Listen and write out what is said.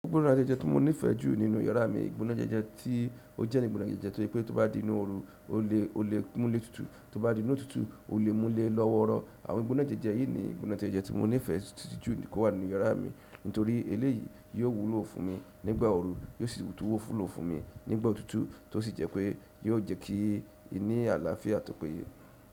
Gbogbo gbọnagbejeje tí mo nífẹẹ jú nínú yàrá mi, gbọnagbejeje tí ó jẹ́ ni gbọnagbejeje torí pé tó bá di nínú ooru, o lè, o lè múlẹ̀ tútù. Tó bá di nínú òtútù, o lè múlẹ̀ lọ́wọ́rọ. Àwọn gbọnagbejeje yìí ni gbọnagbejeje tí mo nífẹẹ títúnjú kó wà nínú yàrá mi nítorí eléyìí yóò wúlò fún mi nígbà ooru, yóò sì tówó fúlò fún mi nígbà òtútù tó sì jẹ́ pé yóò jẹ́ kí i ní àlàáfíà tọ́pẹ́ye.